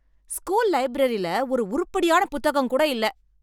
School லைப்ரரில ஒரு உருப்புடியான புத்தகம் கூட இல்ல.